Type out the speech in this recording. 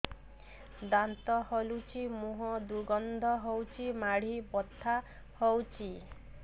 ଦାନ୍ତ ହଲୁଛି ମୁହଁ ଦୁର୍ଗନ୍ଧ ହଉଚି ମାଢି ବଥା ହଉଚି